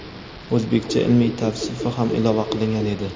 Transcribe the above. o‘zbekcha ilmiy tavsifi ham ilova qilingan edi.